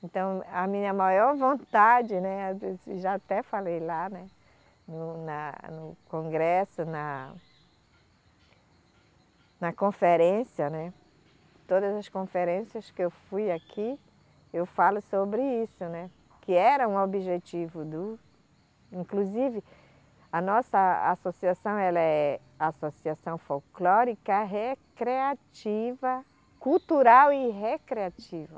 Então, a minha maior vontade, né, já até falei lá, né no na, no congresso, na na conferência, né. Todas as conferências que eu fui aqui, eu falo sobre isso, né, que era um objetivo do. Inclusive, a nossa associação ela é Associação Folclórica Recreativa, Cultural e Recreativa.